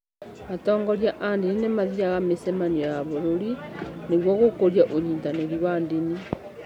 Atongoria a ndini nĩ mathiaga mĩcemanio ya bũrũri nĩguo gũkũria ũnyitanĩri wa ndini.